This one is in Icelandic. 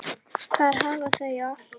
Þar hafa þau allt.